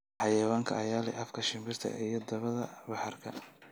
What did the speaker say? Xayawaankee ayaa leh afka shinbiraha iyo dabada bahaarka?